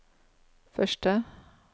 første